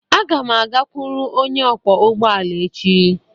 Aga m agakwuru onye ọkwọ ụgbọala echi.